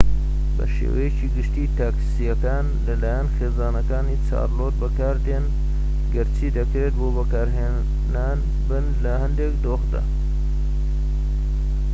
بە شێوەیەکی گشتی تاکسیەکان لە لایەن خێزانەکان چارلۆت بەکاردێن گەرچی دەکرێت بۆ بەکارهێنان بن لە هەندێک دۆخدا